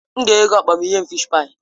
M ga-enye gị ukpa ma ị nye m fịsh páyi.